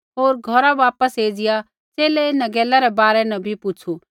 होर घौरा वापस ऐज़िया च़ेले इन्हां गैला रै बारै न भी पुछ़ू